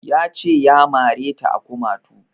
Ya ce ya mare ta a kumatu